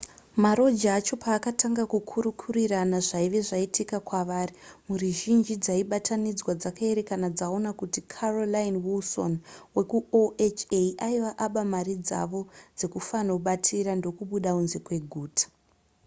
maroja acho paakatanga kukurukurirana zvaive zvaitika kwavari mhuri zhinji dzaibatanidzwa dzakaerekana dzaona kuti carolyn wilson wekuoha aive aba mari dzavo dzekufanobatira ndokubuda kunze kweguta